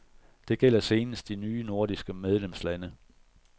Det gælder senest de nye nordiske medlemslande.